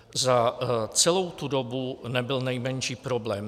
Za celou tu dobu nebyl nejmenší problém.